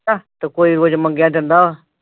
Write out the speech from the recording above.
ਆਹ ਤੇ ਕੋਈ ਫਿਰ ਮੰਗਿਆ ਦਿੰਦਾ?